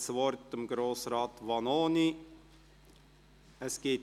Ich gebe Grossrat Vanoni das Wort.